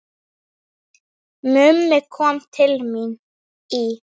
Mummi kom til mín í